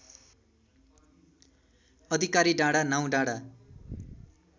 अधिकारी डाँडा नाउँडाँडा